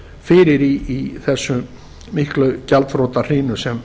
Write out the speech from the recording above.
fyrir í þessari miklu gjaldþrotahrinu sem